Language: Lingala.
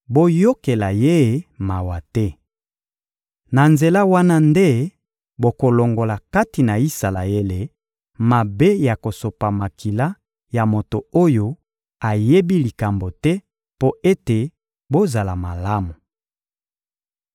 Boyokela ye mawa te. Na nzela wana nde bokolongola kati na Isalaele mabe ya kosopa makila ya moto oyo ayebi likambo te, mpo ete bozala malamu.